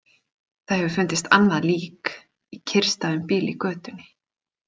Það hefur fundist annað lík, í kyrrstæðum bíl í götunni.